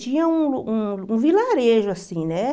Tinha um um um vilarejo assim, né?